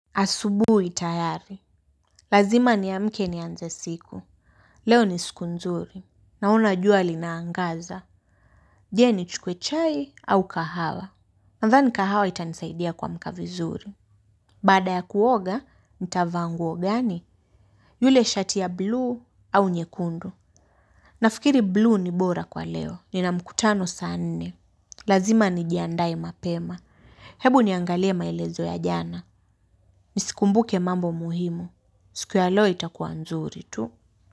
Asubuhi tayari. Lazima niamke nianze siku. Leo ni siku nzuri. Naona jua linaangaza. Je nichukue chai au kahawa. Nadhani kahawa itanisaidia kuamka vizuri. Bada ya kuoga, nitavaa nguo gani? Yule shati ya bluu au nyekundu. Nafikiri bluu ni bora kwa leo. Nina mkutano saa nne. Lazima nijiandae mapema. Hebu niangalie maelezo ya jana. Nizikumbuke mambo muhimu. Siku ya leo itakua nzuri tu.